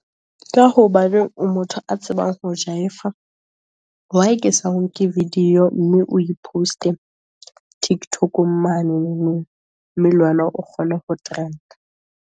Ka ho baneng o motho a tsebang ho jaifa. Why Ke sa o nke video, mme o post-e tiktok-ong manene? Mme le wena o kgone ho trend-a.